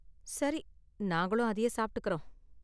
சரி, நாங்களும் அதையே சாப்பிட்டுக்கறோம்.